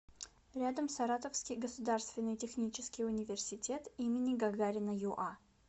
рядом саратовский государственный технический университет им гагарина юа